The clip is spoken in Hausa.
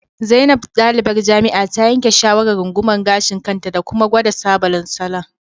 Zainab, dalibar jami'a, ta yanke shawarar rungumar gashin kanta da kuma gwada sabodon salon